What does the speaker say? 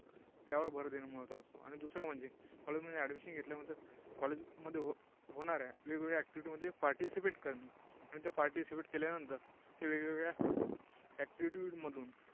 त्यावर भर देणं महत्त्वाचं असतं. आणि दुसरं म्हणजे College मध्ये admission घेतल्यानंतर College मध्ये होणाऱ्या वेगवेगळ्या activity मध्ये participate करणे. आणि ते participate केल्यानंतर ते वेगवेगळ्या activity मधून